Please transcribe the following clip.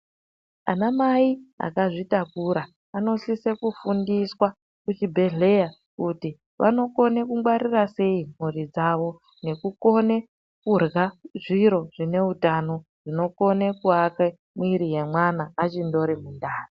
Anamai akazvitakura anokone kufundiswa kuzvibhedhlera kuti vanokone kungwarira sei mhuri dzavo nekukone kurya zviro zvineutano zvinokone kuake muiri wemwana achindori mundani.